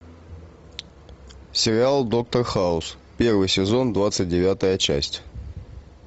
сериал доктор хаус первый сезон двадцать девятая часть